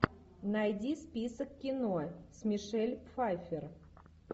найди список кино с мишель пфайфер